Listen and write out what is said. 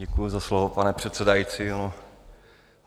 Děkuji za slovo, pane předsedající.